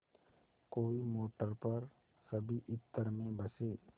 कोई मोटर पर सभी इत्र में बसे